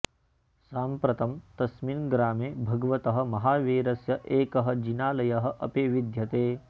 साम्प्रतं तस्मिन् ग्रामे भगवतः महावीरस्य एकः जिनालयः अपि विद्यते